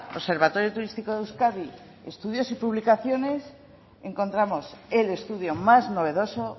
observatorio turístico de euskadi estudios y publicaciones encontramos el estudio más novedoso